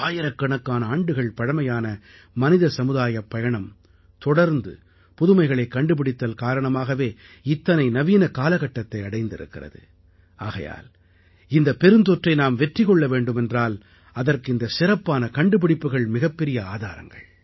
ஆயிரக்கணக்கான ஆண்டுகள் பழமையான மனிதசமுதாயப் பயணம் தொடர்ந்து புதுமைகளைக் கண்டுபிடித்தல் காரணமாகவே இத்தனை நவீன காலகட்டத்தை அடைந்திருக்கிறது ஆகையால் இந்தப் பெருந்தொற்றை நாம் வெற்றி கொள்ள வேண்டுமென்றால் அதற்கு இந்தச் சிறப்பான கண்டுபிடிப்புகள் மிகப் பெரிய ஆதாரங்கள்